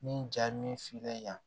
Ni jaa min filila yan